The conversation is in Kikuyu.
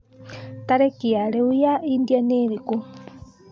tarīki ya rīu ya India ni īrīkū